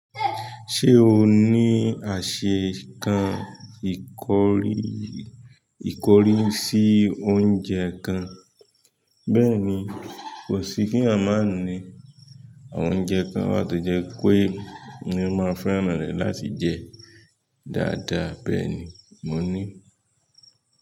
Ṣé o ní àṣẹ kan ikori ìkọrì sí oúnjẹ kan? Bẹ́ẹ̀ni kosi kí èyàn máa ní àwọn oúnjẹ kan wà tó jẹ́ pé èmi máa ń fẹ́ràn rẹ̀ láti jẹ dáadáa bẹ́ẹ̀ni mo ní.